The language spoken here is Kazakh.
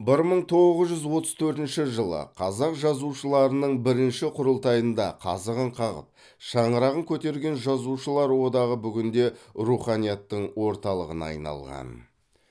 бір мың тоғыз жүз отыз төртінші жылы қазақ жазушыларының бірінші құрылтайында қазығын қағып шаңырағын көтерген жазушылар одағы бүгінде руханияттың орталығына айналған